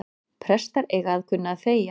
Prestar eiga að kunna að þegja